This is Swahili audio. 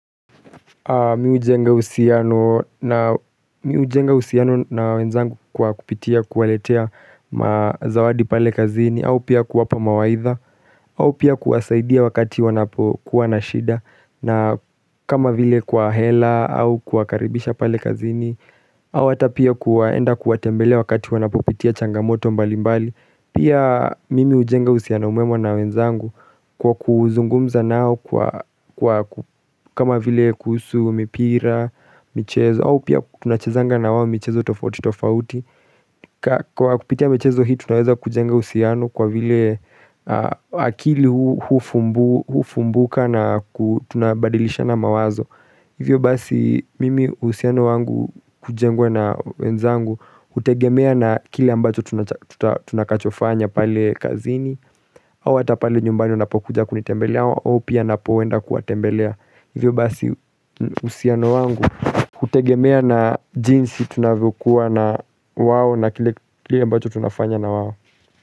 Mimi hujenga uhusiano na wenzangu kwa kupitia kuwaletea mazawadi pale kazini au pia kuwapa mawaidha au pia kuwasaidia wakati wanapokuwa na shida na kama vile kwa hela au kwa kawakaribisha pale kazini au hata pia kuaenda kuwatembelea wakati wanapopitia changamoto mbali mbali Pia mimi hujenga uhusiano mwema na wenzangu kwa kuzungumza nao kwa kama vile kuhsu mipira, michezo au pia tunachezanga na wao michezo tofauti tofauti Kwa kupitia michezo hii tunaweza kujenga uhusiano kwa vile akili hufumbuka na tunabadilishana mawazo Hivyo basi mimi uhusiano wangu hujengwa na wenzangu hutegemea na kile ambacho tunakachofanya pale kazini au hata pale nyumbani unapokuja kunitembelea au pia napoenda kuwatembelea Hivyo basi uhusiano wangu hutegemea na jinsi tunavyokuwa na wao na kile ambacho tunafanya na wao.